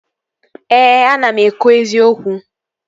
Ee, ana m ekwu eziokwu